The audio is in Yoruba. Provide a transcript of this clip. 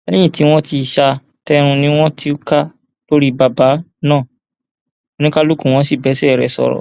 lẹyìn tí wọn ti sá a tẹrùn ni wọn túká lórí bàbá náà oníkálukú wọn sì bá ẹsẹ rẹ sọrọ